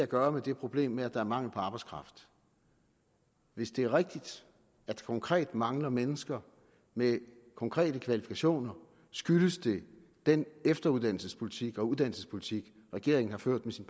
gøre med det problem at der er mangel på arbejdskraft hvis det er rigtigt at der konkret mangler mennesker med konkrete kvalifikationer skyldes det den efteruddannelsespolitik og uddannelsespolitik regeringen har ført med sine